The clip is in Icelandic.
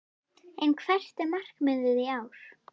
En hvert er markmiðið í ár?